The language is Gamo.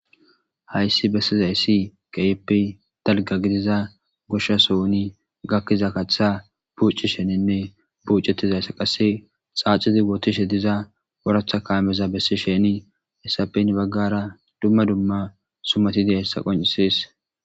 hayssi bessizayssi keyeppe dalga gidiza gosha sohuni gakkiza kachtha buuci sheninne buucetizayssa qasse xaacizi wootishe diza woratha kaameza bessi sheni issapen baggara dumma dumma sumatide hessa qoncises